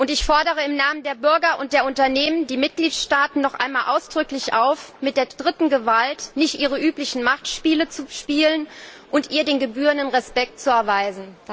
Ich fordere im Namen der Bürger und der Unternehmen die Mitgliedstaaten noch einmal ausdrücklich auf, mit der dritten Gewalt nicht ihre üblichen Machtspiele zu spielen und ihr den gebührenden Respekt zu erweisen.